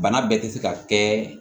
Bana bɛɛ tɛ se ka kɛ